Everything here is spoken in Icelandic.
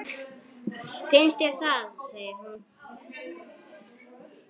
Finnst þér það, segir hún.